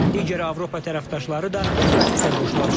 Digər Avropa tərəfdaşları da bu prosesə qoşulacaq.